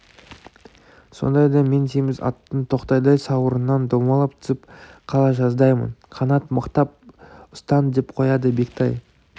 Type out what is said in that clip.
сондайда мен семіз аттың тақтайдай сауырынан домалап түсіп қала жаздаймын қанат мықтап ұстан деп қояды бектай